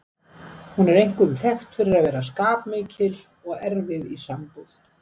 Hún er einkum þekkt fyrir að vera skapmikil og erfið í sambúð.